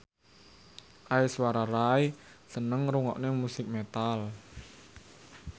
Aishwarya Rai seneng ngrungokne musik metal